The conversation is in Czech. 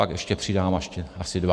Pak ještě přidám asi dva.